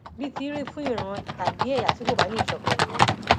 bíi ti í rí fún ìran tàbí ẹyà tí kò bá níṣọkan nìyẹn